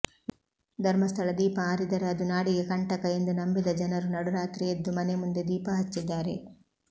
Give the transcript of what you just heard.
ಧರ್ಮಸ್ಥಳ ದೀಪ ಆರಿದರೆ ಅದು ನಾಡಿಗೆ ಕಂಟಕ ಎಂದು ನಂಬಿದ ಜನರು ನಡುರಾತ್ರಿ ಎದ್ದು ಮನೆ ಮುಂದೆ ದೀಪ ಹಚ್ಚಿದ್ದಾರೆ